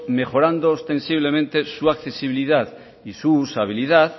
mejorando ostensiblemente su accesibilidad y su usabilidad